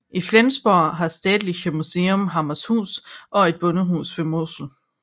I Flensborg har Städtisches Museum Hammershus og Et bondehus ved Mosel